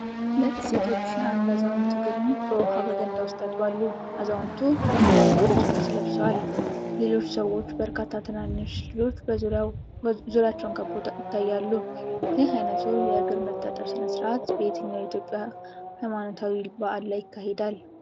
ሁለት ሴቶች የአንድ አዛውንት እግርን በውሃና በገንዳ ውስጥ ያጥባሉ። አዛውንቱ ባህላዊ ነጭ ልብስ ለብሰዋል። ሌሎች ሰዎችና በርካታ ትናንሽ ልጆች ዙሪያቸውን ከበው ይታያሉ። ይህ አይነቱ የእግር መታጠብ ሥነ ሥርዓት በየትኛው የኢትዮጵያ ሃይማኖታዊ በዓል ላይ ይካሄዳል?